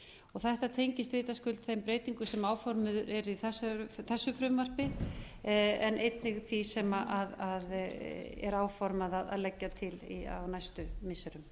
eigin þetta tengist vitaskuld þeim breytingum sem áformuð eru í þessu frumvarpi en einnig því sem er áformað að leggja til á næstu missirum